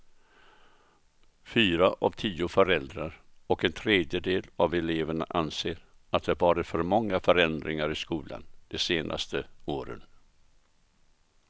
Fyra av tio föräldrar och en tredjedel av eleverna anser att det varit för många förändringar i skolan de senaste åren.